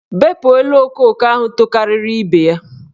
Bepu elu okooko ahụ tokariri ibe ya!